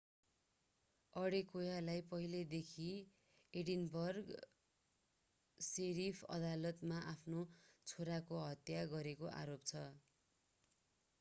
अडेकोयालाई पहिलेदेखि Edinburgh sheriff अदालतमा आफ्नो छोराको हत्या गरेको आरोप छ